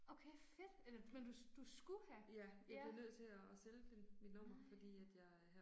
Okay fedt eller men du du skulle have? Ja. Nej